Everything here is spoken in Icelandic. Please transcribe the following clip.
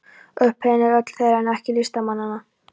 Upphefðin er öll þeirra, en ekki listamannanna.